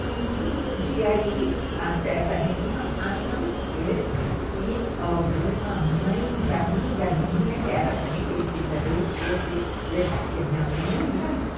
Não podia ir a festa nenhuma, a não ser que alguma mãe de amiga minha, que era também conhecida dele, fosse levar, porque minha mãe não ia mesmo.